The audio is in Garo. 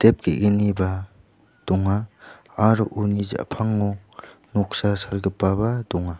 biap ge·gniba donga aro uni ja·pango noksa salgipaba donga.